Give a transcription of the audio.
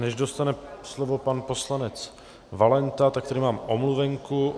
Než dostane slovo pan poslanec Valenta, tak tady mám omluvenku.